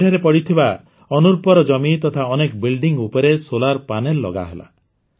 ଏଠାରେ ପଡ଼ିଥିବା ଅନୁର୍ବର ଜମି ତଥା ଅନେକ କୋଠା ଉପରେ ସୌର ପ୍ୟାନେଲ ଲଗାହେଲା